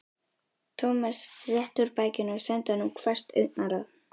Thomas rétti úr bakinu og sendi honum hvasst augnaráð.